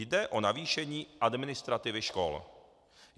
Jde o navýšení administrativy škol.